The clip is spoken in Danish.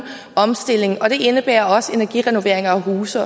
omstilling og det indebærer også energirenoveringer af huse